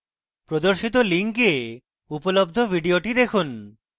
screen প্রদর্শিত link উপলব্ধ video দেখুন